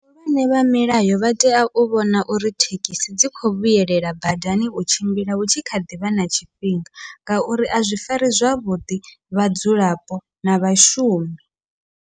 Vhahulwane vha milayo vha tea u vhona uri thekhisi dzi khou vhuyelela badani u tshimbila hutshi kha ḓivha na tshifhinga, ngauri a zwi fari zwavhuḓi vhadzulapo na vhashumi.